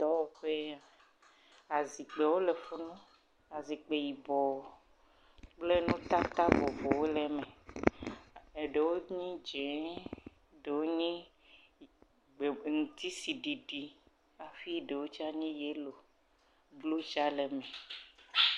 Dɔwɔƒe ya me. Azikpiwo le fi ma. Azikpi yibɔ kple nutata vovowo le eme. Eɖewo nye dzie, ɖe wo nye ŋ ŋtsi si ɖiɖi hafi ɖewo tsa nye yelo. Klo sia le…